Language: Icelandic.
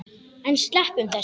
En sleppum þessu!